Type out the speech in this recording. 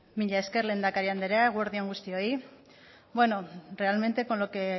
mila esker lehendakari andrea eguerdi on guztioi bueno realmente con lo que